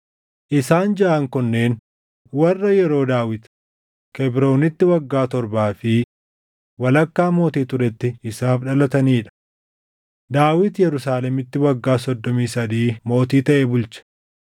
Isaan jaʼaan kunneen warra yeroo Daawit Kebroonitti waggaa torbaa fi walakkaa mootii turetti isaaf dhalatanii dha. Daawit Yerusaalemitti waggaa soddomii sadii mootii taʼee bulche;